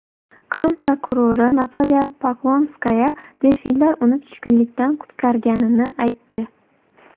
Qrim prokurori Natalya Poklonskaya delfinlar uni tushkunlikdan qutqarganini aytdi.